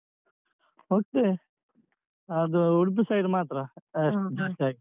ಹೋಗ್ತೇವೆ ಅದು ಉಡುಪಿ side ಮಾತ್ರ highest ಜಾಸ್ತಿಯಾಗಿ.